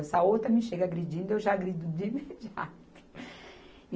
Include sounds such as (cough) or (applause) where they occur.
Se a outra me chega agredindo, eu já agrido de imediato. (laughs)